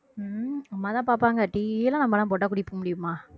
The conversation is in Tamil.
ஹம் அம்மாதான் பாப்பாங்க tea லாம் நம்மலாம் போட்டா குடிக்க முடியுமா